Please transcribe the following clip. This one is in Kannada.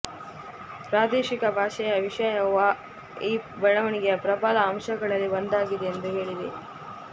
ಪ್ರಾದೇಶಿಕ ಭಾಷೆಯ ವಿಷಯವು ಈ ಬೆಳವಣಿಗೆಯ ಪ್ರಬಲ ಅಂಶಗಳಲ್ಲಿ ಒಂದಾಗಿದೆ ಎಂದು ಹೇಳಿದೆ